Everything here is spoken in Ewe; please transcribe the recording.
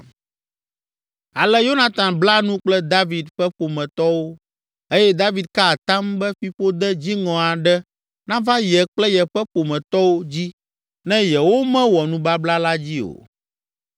Ale Yonatan bla nu kple David ƒe ƒometɔwo eye David ka atam be fiƒode dziŋɔ aɖe nava ye kple yeƒe ƒometɔwo dzi ne yewomewɔ nubabla la dzi o.